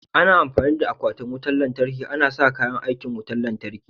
Ana amfani da akwatin wutan lantarki ana sa kayan aikin wutan lantarki.